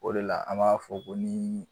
O de la an b'a fɔ ko nii